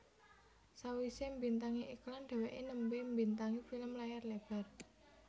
Sawisé mbintangi iklan dheweké nembe mbintangi film layar lebar